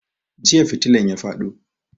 Jiya fitilan ya fado